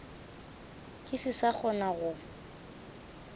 ke se sa kgona go